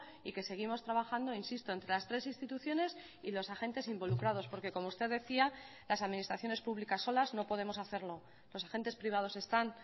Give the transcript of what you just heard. y que seguimos trabajando insisto entre las tres instituciones y los agentes involucrados porque como usted decía las administraciones públicas solas no podemos hacerlo los agentes privados están